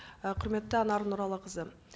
і құрметті анар нұралықызы